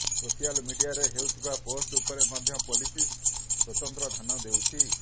social ମିଡିଆରେ ହେଉଥିବା post ଉପରେ ମଧ୍ୟ ପୋଲିସ ସ୍ୱତନ୍ତ୍ର ଧ୍ୟାନ ଦେଉଛି